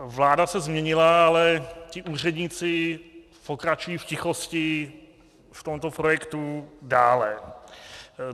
Vláda se změnila, ale ti úředníci pokračují v tichosti v tomto projektu dále.